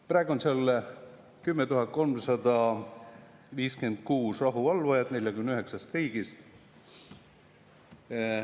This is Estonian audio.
Praegu on seal 10 356 rahuvalvajat 49 riigist.